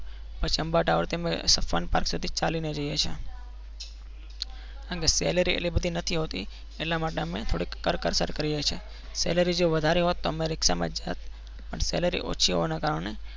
પછી અંબા ટાવરથી અમે fun park સુધી ચાલીને જઈએ છીએ કારણ કે salary એટલી બધી નથી હોતી એટલા માટે અમે થોડીક કરકસર કરીએ છીએ salary જો વધારે હોત તો અમે રિક્ષામાં જ જાત પણ salary ઓછી હોવાના કારણે